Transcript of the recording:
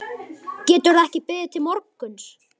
Getur það ekki beðið til morguns?